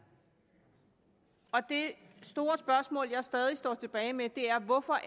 det store spørgsmål jeg stadig står tilbage med er hvorfor